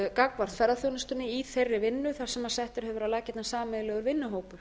gagnvart ferðaþjónustunni í þeirri vinnu þar sem settur hefur verið á laggirnar sameiginlegur vinnuhópur